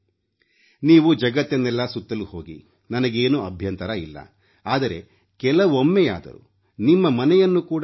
ನೀವು ಜಗತ್ತನ್ನೆಲ್ಲ ಸುತ್ತಲು ಹೋಗಿ ನನಗೇನೂ ಅಭ್ಯಂತರವಿಲ್ಲ ಆದರೆ ಕೆಲವೊಮ್ಮೆಯಾದರೂ ನಿಮ್ಮ ಮನೆಯನ್ನು ಕೂಡ ನೋಡಿ